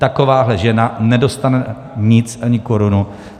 Takováhle žena nedostane nic, ani korunu.